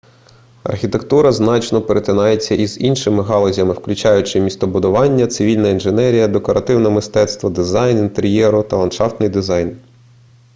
архітектура значно перетинається з іншими галузями включаючи містобудування цивільна інженерія декоративне мистецтво дизайн інтер'єру та ландшафтний дизайн